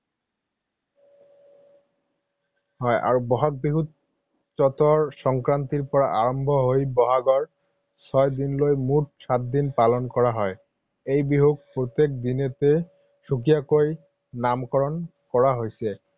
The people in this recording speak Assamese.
হয় আৰু বহাগ বিহু চতৰ সংক্ৰান্তিৰ পৰা আৰম্ভ হৈ বহাগৰ ছয় দিনলৈ মুঠ সাতদিন পালন কৰা হয়। এই বিহুক প্ৰত্যেক দিনতে সুকীয়াকৈ নামকৰণ কৰা হৈছে।